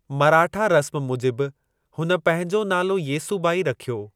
मराठा रस्म मूजिब हुन पंहिंजो नालो येसूबाई रखियो।